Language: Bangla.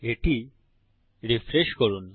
এটি রিফ্রেশ করুন